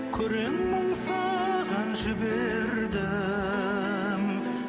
күрең мұң саған жібердім